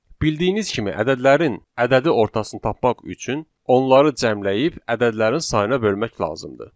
Bildiyimiz kimi, ədədlərin ədədi ortasını tapmaq üçün onları cəmləyib ədədlərin sayına bölmək lazımdır.